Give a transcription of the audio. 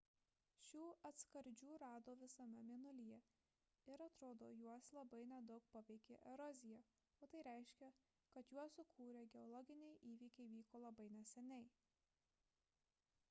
šių atskardžių rado visame mėnulyje ir atrodo kad juos labai nedaug paveikė erozija o tai reiškia kad juos sukūrę geologiniai įvykiai vyko labai neseniai